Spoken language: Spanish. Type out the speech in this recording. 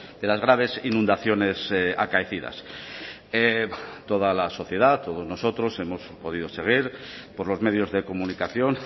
de las graves inundaciones acaecidas toda la sociedad todos nosotros hemos podido seguir por los medios de comunicación